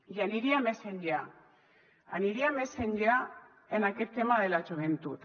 i aniria més enllà aniria més enllà en aquest tema de la joventut